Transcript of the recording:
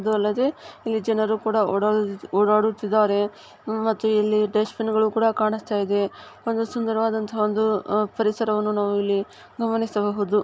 ಅದು ಅಲ್ಲದೆ ಈ ಜನರು ಕೂಡ ಒಡದ್ ಓಡಾಡುತ್ತಿದ್ದಾರೆ ಮತ್ತೆ ಇಲ್ಲಿ ಡಸ್ಟ್ ಬಿನ್ಗಳು ಕೂಡಾ ಕಾಣಿಸ್ತಾ ಇದೆ ಮತ್ತೆ ಸುಂದರವಾದಂತಹ ಪರಿಸರವನ್ನು ನಾವಿಲ್ಲಿ ಗಮನಿಸಬಹುದು.